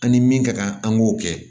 An ni min ka kan an k'o kɛ